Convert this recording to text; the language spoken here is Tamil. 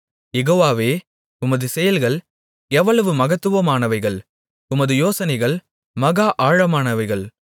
யெகோவாவே உமது செயல்கள் எவ்வளவு மகத்துவமானவைகள் உமது யோசனைகள் மகா ஆழமானவைகள்